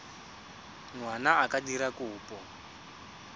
ngwana a ka dira kopo